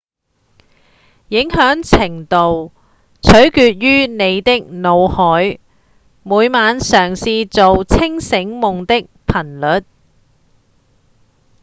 影響程度取決於你的腦袋每晚嘗試做清醒夢的頻率